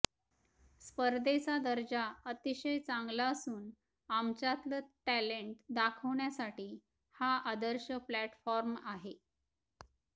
स्पधेर्चा दर्जा अतिशय चांगला असून आमच्यातलं टॅलेण्ट दाखवण्यासाठी हा आदर्श प्लॅटफॉर्म आहे